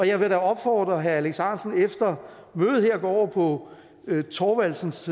jeg vil da opfordre herre alex ahrendtsen til efter mødet her at gå over på bertel thorvaldsens